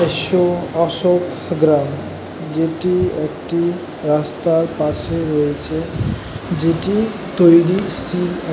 অশো অশোকগ্রাম যেটি একটি রাস্তার পাশে রয়েছে যেটি তৈরি স্টিল এ --